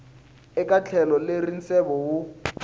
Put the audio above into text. eka tlhelo leri nseve wu